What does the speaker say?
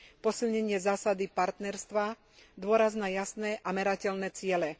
posilnenie zásady partnerstva, dôraz na jasné a merateľné ciele.